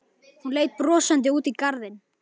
Hún leit brosandi út í garðinn.